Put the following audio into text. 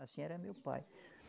Assim era meu pai.